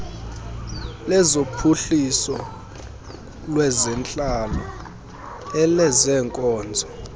lezophuhliso lwentlalo elezeenkonzo